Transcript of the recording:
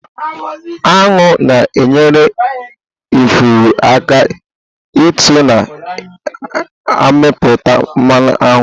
Aṅụ na-enyere ifuru aka ító na-amịpụta mmanụ aṅụ.